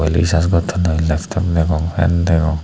risars gottonoi leptof degong fan deong.